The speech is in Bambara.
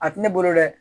A tɛ ne bolo dɛ